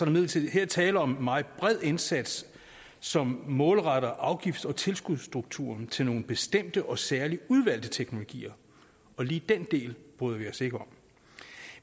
imidlertid her tale om meget bred indsats som målretter afgifts og tilskudsstrukturen til nogle bestemte og særligt udvalgte teknologier og lige den del bryder vi os ikke om